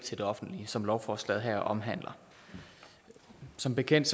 til det offentlige som lovforslaget her omhandler som bekendt